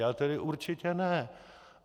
Já tedy určitě ne.